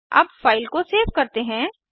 अब फाइल को सेव करते हैं